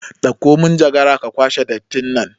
Ɗakko manjagara ka kwashe dattin nan